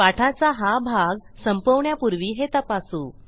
पाठाचा हा भाग संपवण्यापूर्वी हे तपासू